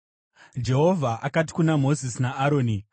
Jehovha akati kuna Mozisi naAroni,